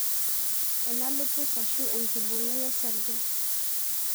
Ana lupus ashu enkibungai osarge.